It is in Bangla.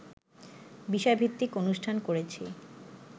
বিষয়-ভিত্তিক অনুষ্ঠান করেছি